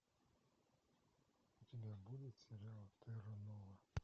у тебя будет сериал терра нова